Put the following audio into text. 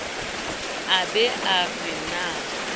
a be a re na